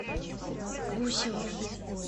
гусевым